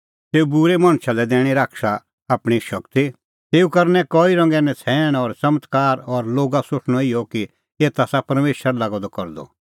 तेऊ बूरै मणछा लै दैणीं शैताना आपणीं शगती तेऊ करनै कई रंगे नछ़ैण और च़मत्कार और लोगा सोठणअ इहअ कि एता आसा परमेशर लागअ द करदअ